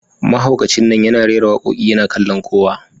Mahaukacin nan yana rera wakoki yana kallon kowa